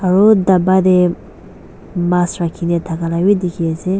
aru daba tae mas rakhina thaka vi dekhi ase.